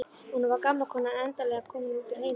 Og nú var gamla konan endanlega komin út úr heiminum.